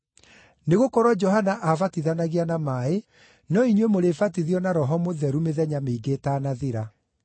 Nĩgũkorwo Johana aabatithanagia na maaĩ, no inyuĩ mũrĩbatithio na Roho Mũtheru mĩthenya mĩingĩ ĩtaanathira.”